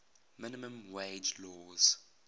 minimum wage laws